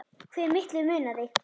Hve miklu munaði?